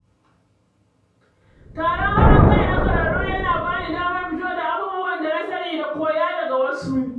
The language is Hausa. Taron haɗin kai na ƙwararru yana ba ni damar fito da abubuwan da na sani da koyo daga wasu.